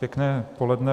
Pěkné poledne.